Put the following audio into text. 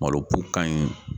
Malo bu ka ɲi.